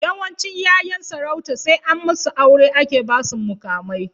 Yawancin 'yayan sarauta sai an musu aure ake basu muƙamai.